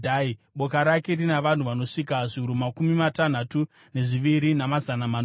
Boka rake rina vanhu vanosvika zviuru makumi matanhatu nezviviri, namazana manomwe.